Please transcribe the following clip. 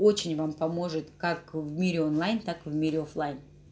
очень вам поможет как в мире онлайн так в мире оффлайн